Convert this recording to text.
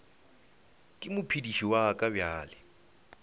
ke mophediši wa ka bjale